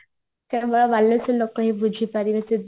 ବାଲେଶ୍ଵରଲୋକ ହିଁ ବୁଝି ପାରିବେ ସେ